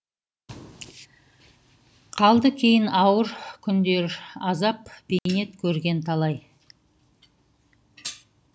қалды кейін ауыр күндеразап бейнет керген талай